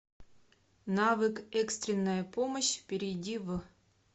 навык экстренная помощь перейди в